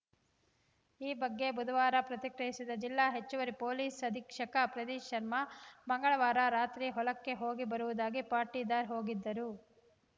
ಈ ಬಗ್ಗೆ ಬುಧವಾರ ಪ್ರತಿಕ್ರಿಯಿಸಿದ ಜಿಲ್ಲಾ ಹೆಚ್ಚುವರಿ ಪೊಲೀಸ್‌ ಅಧೀಕ್ಷಕ ಪ್ರದೀಶ್‌ ಶರ್ಮಾ ಮಂಗಳವಾರ ರಾತ್ರಿ ಹೊಲಕ್ಕೆ ಹೋಗಿ ಬರುವುದಾಗಿ ಪಾಟೀದಾರ್‌ ಹೋಗಿದ್ದರು